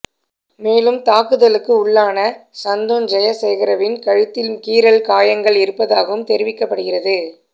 மேலும் தாக்குதலுக்கு உள்ளான சந்துன் ஜயசேகரவின் கழுத்தில் கீறல் காயங்கள் இருப்பதாகவும் தெரிவிக்கப்படுகிறது